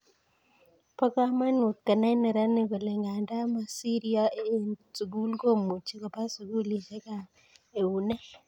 Bo komonut konai neranik kole nganda mosiryo eng sukul komuchi Koba sukulieskyap eunek